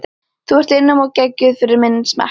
þú ert einum of geggjuð fyrir minn smekk.